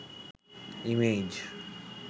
image